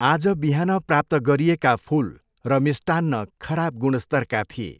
आज बिहान प्राप्त गरिएका फुल र मिष्टान्न खराब गुणस्तरका थिए।